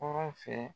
Kɔrɔ fɛ